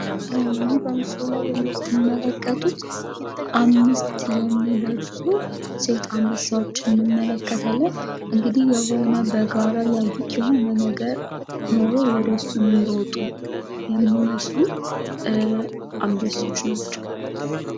ይህ በምስሉ ላይ የምትመለከቱት አምስት የሚደርሱ ሴት አንበሳዎች እንመለከታለን። እንግዲህ የሆነ በጋራ ያዩት የሆነ ነገር ኑሮ ወደሱ እሚሮጡ የሚመስሉ አንበሶች ናቸው